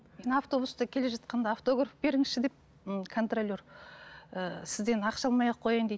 мен автобуста келе жатқанда автограф беріңізші деп м контроллер ііі сізден ақша алмай ақ қояйын дейді